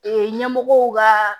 ɲɛmɔgɔw ka